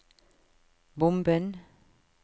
bomben